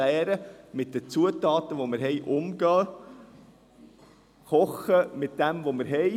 Wir müssen mit den Zutaten umzugehen lernen, die wir haben, und mit dem kochen, was wir haben.